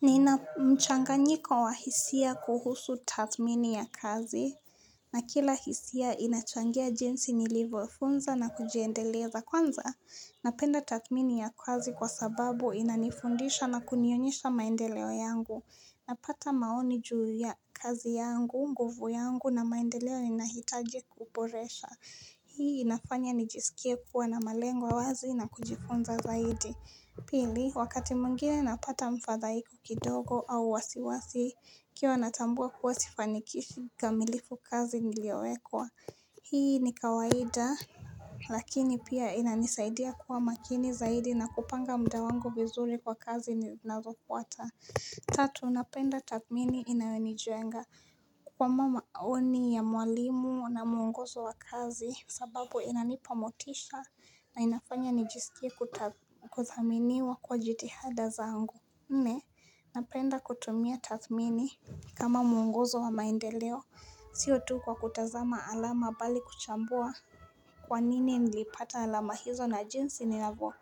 Nina mchanganyiko wa hisia kuhusu taathmini ya kazi na kila hisia inachangia jinsi nilivyofunza na kujiendeleza kwanza Napenda taathmini ya kazi kwa sababu inanifundisha na kunionyesha maendeleo yangu Napata maoni juu ya kazi yangu, nguvu yangu na maendeleo ninahitaji kuboresha Hii inafanya nijisikie kuwa na malengo wazi na kujifunza zaidi Pili, wakati mwingine napata mfadhaiko kidogo au wasiwasi nikiwa natambua kuwa sifanikishi kikamilifu kazi niliyowekwa. Hii ni kawaida lakini pia inanisaidia kuwa makini zaidi na kupanga muda wangu vizuri kwa kazi zinazofuata. Tatu napenda taathmini inayonijenga kwa maoni ya mwalimu na mwongozo wa kazi sababu inanipa motisha na inafanya nijisikie kuthaminiwa kwa jitihada zangu Mne napenda kutumia taathmini kama mwongozo wa maendeleo Sio tu kwa kutazama alama bali kuchambua Kwa nini nilipata alama hizo na jinsi ninavyo